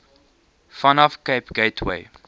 vanaf cape gateway